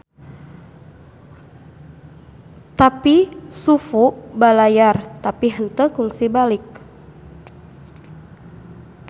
Tapi Xu Fu balayar tapi henteu kungsi balik.